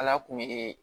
Ala kun ye